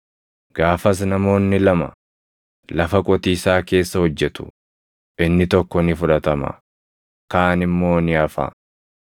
Gaafas namoonni lama lafa qotiisaa keessa hojjetu; inni tokko ni fudhatama; kaan immoo ni hafa.